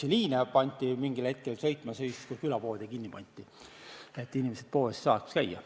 Jõgevamaal näiteks pandi mingil hetkel bussiliine sõitma siis, kui külapoode oli kinni pandud, et inimesed saaksid poes käia.